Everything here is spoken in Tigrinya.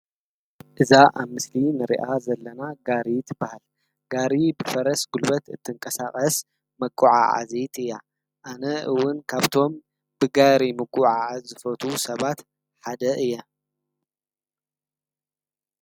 ። እዛ ኣብ ምስሊ ንርኣ ዘለና ጋሪትበሃል ጋሪ ብፈረስ ጕልበት እትንቀሳቐስ መቁዓ ዓዚይቲ እያ ኣነ ውን ካብቶም ብጋይሪ ምቁዓዓዝፈቱ ሰባት ሓደ እየ።